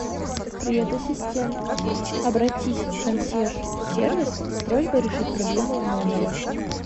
привет ассистент обратись в консьерж сервис с просьбой решить проблему в номере